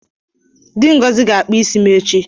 Di Ngozi ga-akpụ isi m echi.